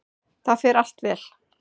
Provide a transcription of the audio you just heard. Það fer allt vel.